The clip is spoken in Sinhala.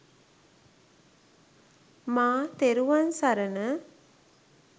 මා තෙරුවන් සරණ